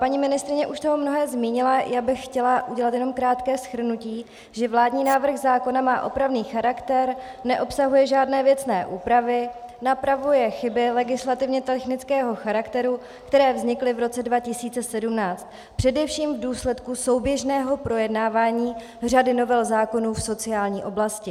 Paní ministryně už toho mnoho zmínila, já bych chtěla udělat jenom krátké shrnutí, že vládní návrh zákona má opravný charakter, neobsahuje žádné věcné úpravy, napravuje chyby legislativně technického charakteru, které vznikly v roce 2017 především v důsledku souběžného projednávání řady novel zákonů v sociální oblasti.